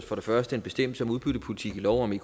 for det første en bestemmelse om udbyttepolitik i lov om